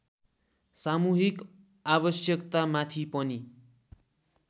सामूहिक आवश्यकतामाथि पनि